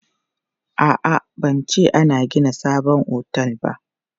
A'a, ban ce an gina sabon otel ba.